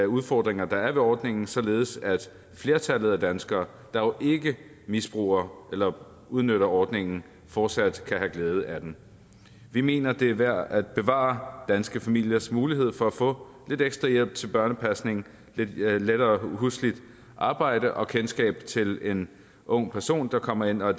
udfordringer der er ved ordningen således at flertallet af danskere der jo ikke misbruger eller udnytter ordningen fortsat kan have glæde af den vi mener det er værd at bevare danske familiers mulighed for at få lidt ekstra hjælp til børnepasning lettere husligt arbejde og kendskab til en ung person der kommer ind og er